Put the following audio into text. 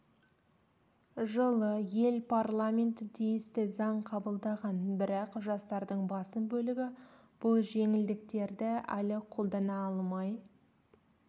жылы ел парламенті тиісті заң қабылдаған бірақ жастардың басым бөлігі бұл жеңілдіктерді әлі қолдана алмай